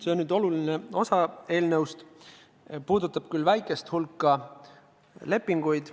See on oluline osa eelnõust, mis puudutab küll väikest hulka lepinguid.